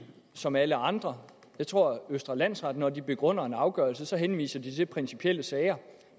som alle andre jeg tror at østre landsret når de begrunder en afgørelse henviser til principielle sager